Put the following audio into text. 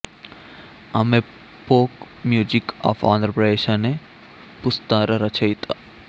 ఆమె folk music of Andhra Pradesh అనే పుస్తర రచయిత